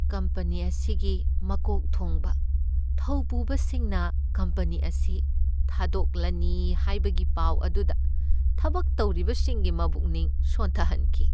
Company ꯑꯁꯤꯒꯤ ꯃꯀꯣꯛ ꯊꯣꯕ ꯊꯧꯕꯨꯕꯁꯤꯡꯅ ꯀꯝꯄꯅꯤ ꯑꯁꯤ ꯊꯥꯗꯣꯛꯂꯅꯤ ꯍꯥꯏꯕꯒꯤ ꯄꯥꯎ ꯑꯗꯨꯅ ꯊꯕꯛ ꯇꯧꯔꯤꯕꯁꯤꯡꯒꯤ ꯃꯕꯨꯛꯅꯤꯡ ꯁꯣꯟꯊꯍꯟꯈꯤ ꯫